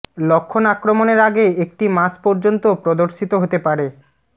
লক্ষণ আক্রমণের আগে একটি মাস পর্যন্ত প্রদর্শিত হতে পারে